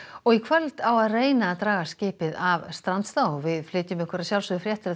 og í kvöld á að reyna að draga skipið af strandstað við flytjum ykkur fréttir af